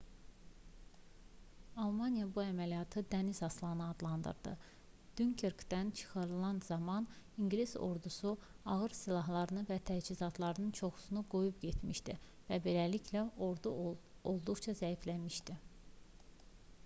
almaniya bu əməliyyatı dəniz aslanı adlandırdı. dünkerkdən çıxarılan zaman i̇ngilis ordusu ağır silahlarının və təchizatlarının çoxunu qoyub getmişdi və beləliklə ordu olduqca zəifləmişdi